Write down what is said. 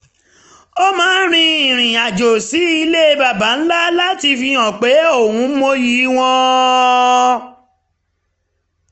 ó máa ń rin irin-àjò sí ilẹ̀ baba ńlá láti fihan pé òun mọyì wọn